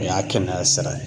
O y'a kɛnɛya sira ye